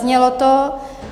Zaznělo to.